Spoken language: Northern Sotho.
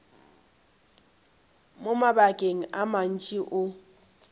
mo mabakeng a mantši o